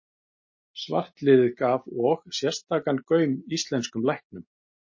Svartliðið gaf og sérstakan gaum íslenskum læknum.